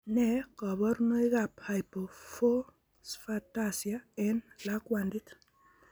Nee kabarunoikab hypophosphatasia eng' lakwandit?